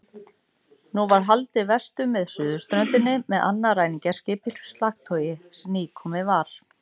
Nú var haldið vestur með suðurströndinni með annað ræningjaskip í slagtogi sem nýkomið var.